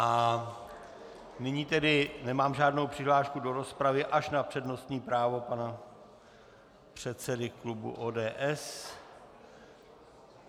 A nyní tedy nemám žádnou přihlášku do rozpravy až na přednostní právo pana předsedy klubu ODS.